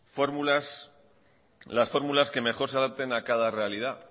las fórmulas que mejor se adapten a cada realidad